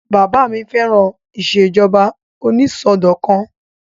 Bàbá mi fẹ́ràn ìṣèjọba onísọdọ̀kan